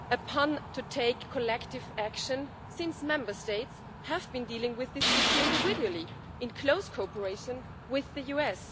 on to take collective action, since Member States have been dealing with this issue individually in close cooperation with the US.